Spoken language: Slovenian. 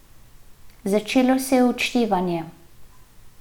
Začelo se je odštevanje.